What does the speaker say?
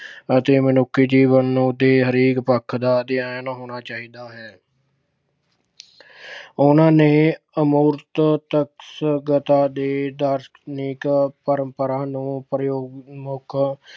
ਅਤੇ ਮਨੁੱਖੀ ਜੀਵਨ ਨੂੰ ਦੇ ਹਰੇਕ ਪੱਖ ਦਾ ਅਧਿਐਨ ਹੋਣਾ ਚਾਹੀਦਾ ਹੈ। ਉਨ੍ਹਾਂ ਨੇ ਅਮੂਰਤ ਦੇ ਦਾਰਸ਼ਨਿਕ ਪਰੰਪਰਾ ਨੂੰ ਪ੍ਰਯੋਗ ਮੁੱਖ